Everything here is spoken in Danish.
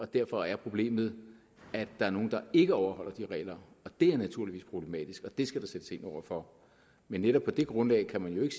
derfor er problemet at der er nogle der ikke overholder de regler det er naturligvis problematisk og det skal der sættes ind over for men netop på det grundlag kan man jo ikke